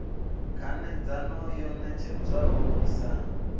khanedzano yo ṋetshedzwaho i sa